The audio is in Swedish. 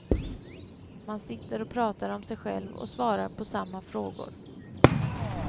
Man sitter och pratar om sig själv och svarar på samma frågor.